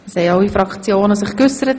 Es konnten sich alle Fraktionen äussern.